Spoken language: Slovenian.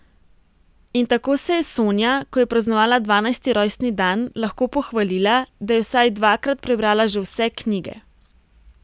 In tako se je Sonja, ko je praznovala dvanajsti rojstni dan, lahko pohvalila, da je vsaj dvakrat prebrala že vse knjige.